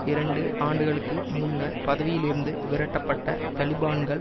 இரண்டு ஆண்டுகளுக்கு முன்னர் பதவியிலிருந்து விரட்டப்பட்ட தலிபான்கள்